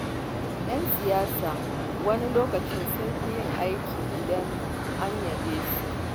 Ƴan siyasa wani lokaci sun fi yin aiki idan an yaba musu.